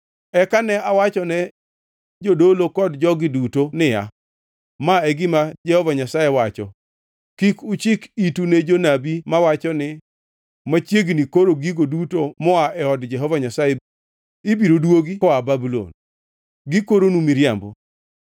Eka ne awachone jodolo kod jogi duto niya, “Ma e gima Jehova Nyasaye wacho: Kik uchik itu ne jonabi mawacho ni, ‘Machiegnini koro gigo duto moa e od Jehova Nyasaye ibiro duogi koa Babulon.’ Gikoronu miriambo.